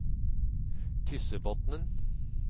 Tyssebotnen